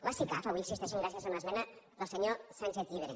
les sicav avui existeixen gràcies a una esmena del senyor sánchez llibre